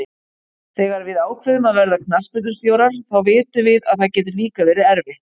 Þegar við ákveðum að verða knattspyrnustjórar þá vitum við að það getur líka verið erfitt.